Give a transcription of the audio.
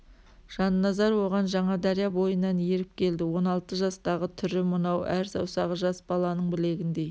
жанназар оған жаңадария бойынан еріп келді он алты жастағы түрі мынау әр саусағы жас баланың білегіндей